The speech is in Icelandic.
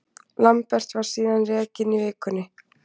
Lambert var síðan rekinn í vikunni.